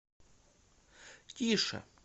тише